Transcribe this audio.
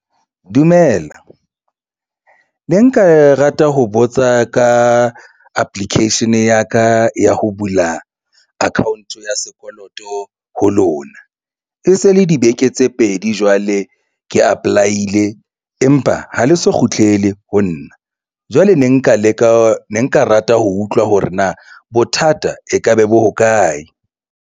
Dumela ne nka rata ho botsa ka application ya ka ya ho bula account ya sekoloto ho lona. E se le dibeke tse pedi jwale ke apply-ile empa ha le so kgutlele ho nna jwale ne nka leka ne nka rata ho utlwa hore na bothata e ka be bo hokae.